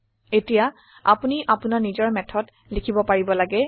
এতিয়া আপোনি আপোনাৰ নিজৰ মেথড লিখিব পাৰিব লাগে